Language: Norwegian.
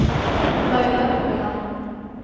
Laila Ueland